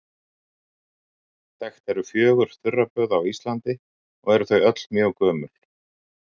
Þekkt eru fjögur þurraböð á Íslandi, og eru þau öll mjög gömul.